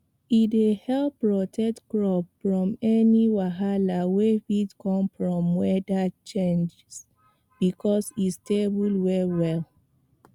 e dey help protect crops from any wahala wey fit come from weather changes because e stable well well